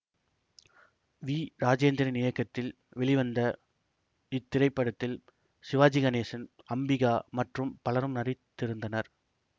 we Rajendran இயக்கத்தில் வெளிவந்த இத்திரைப்படத்தில் சிவாஜி கணேசன் அம்பிகா மற்றும் பலரும் நடித்திருந்தனர்